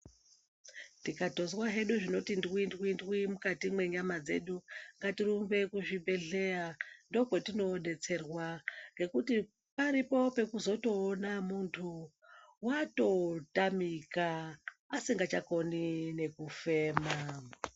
Tikatozwa hedu zvinoto ndwindwindwi mukati mwenyama dzedu ngatirumbe kuzvibhedhleya ndokwetinoodetserwa, ngekuti paripo pekuzotoona munthu watotamika asikachakoni nekufema.